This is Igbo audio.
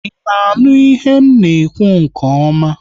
I na-aṅụ ihe na ekwu nke ọma?